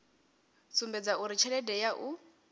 sumbedza uri tshelede ya u